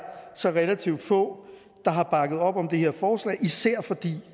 så relativt få der har bakket op om det her forslag især fordi